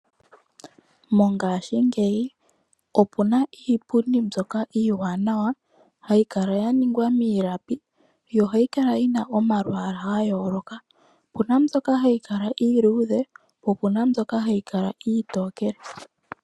Mongashingeyi opu na iipundi mbyoka iiwanawa ya ningwa miilapi, yo ohayi kala momalwaala ga yooloka, opu na mbyoka ha yi kala iiluudhe naambyoka iitokele